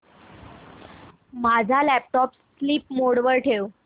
माझा laptop sleep mode वर ठेव